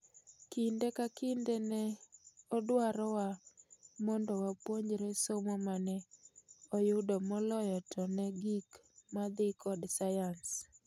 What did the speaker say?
Kinde ka kinde ne odwarowa mondo wapuonjre somo mane oyudomoloyo to ne gik madhii kod sayans.